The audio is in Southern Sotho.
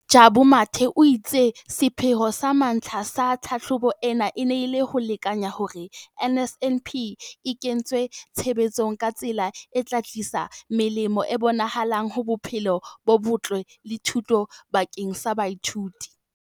DPME, Jabu Mathe, o itse sepheo sa mantlha sa tlhahlobo e ne e le ho lekanya hore na NSNP e kentswe tshebetsong ka tsela e tla tlisa melemo e bonahalang ho bophelo bo botle le thuto bakeng sa baithuti.